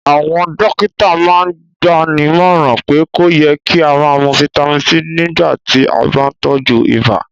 Àwọn dọ̀kìtà màn n gbànímọ̀ràn pé kò yẹ̀ kí a mú fítamì C nígbà tí a bá n tọju ìbà